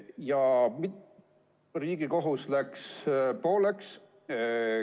Ja Riigikohus läks pooleks.